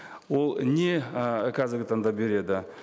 ол не і қазіргі таңда береді